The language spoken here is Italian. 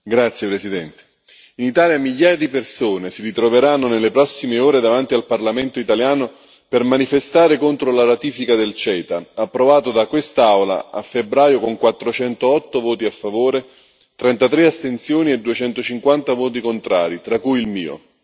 Signor Presidente, onorevoli colleghi, in Italia migliaia di persone si ritroveranno nelle prossime ore davanti al parlamento italiano per manifestare contro la ratifica del CETA, approvato da quest'Aula a febbraio con 408 voti a favore, 33 astensioni e 250 voti contrari, tra cui il mio.